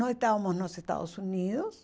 Nós estávamos nos Estados Unidos.